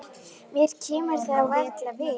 Mér kemur það varla við.